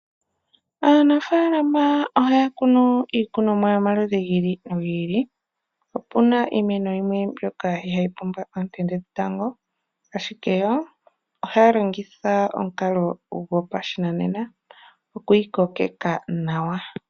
Aanafalama ohaya kunu iikunomwa yomaludhi gi ili nogi ili. Opuna iimeno yimwe mbyoka ihayi pumbwa onte dhetango ashike ohaya longitha omukalo gopashinanena okuyi kokeka nawa.